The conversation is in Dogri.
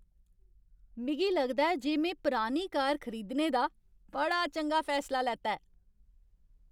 मिगी लगदा ऐ जे में पुरानी कार खरीदने दा बड़ा चंगा फैसला लैता ऐ।